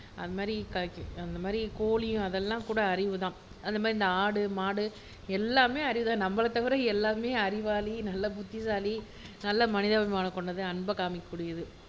அந்த மாதிரி கோழி அதெல்லாம் கூட அறிவு தான் அந்த மாதிரி இந்த ஆடு மாடு எல்லாமே அறிவு தான் நம்மளை தவிர எல்லாமே அறிவாளி, நல்ல புத்திசாலி, நல்ல மனிதாபிமானம் கொண்டது அன்பை காமிக்ககூடியது